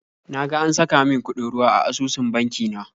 Na ga an saka min kuɗin ruwa a asusun banki na